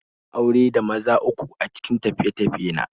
Na ga mata me zaman aure da maza uku a cikin tafiye-tafiye na